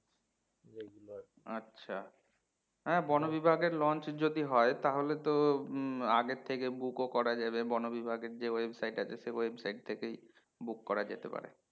আচ্ছা হ্যাঁ বনবিভাগের launch যদি হয় তাহলে তো হম আগে থেকে book ও করা যাবে বনবিভাগের যে website আছে সেই website থেকেই book করা যেতে পারে